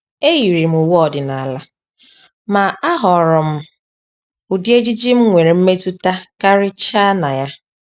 E yiiri m uwe ọdịnala, ma ahọọrọ m m ụdị ejiji m nwere mmetụta karịchaa na ya.